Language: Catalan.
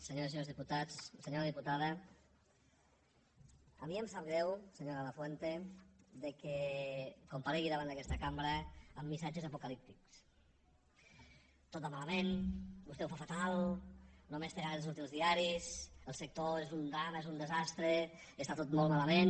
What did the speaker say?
senyores i senyors diputats senyora diputada a mi em sap greu senyora lafuente que comparegui davant d’aquesta cambra amb missatges apocalíptics tot va malament vostè ho fa fatal només té ganes de sortir als diaris el sector és un drama és un desastre està tot molt malament